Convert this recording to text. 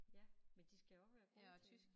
Ja men de skal jo også være gode til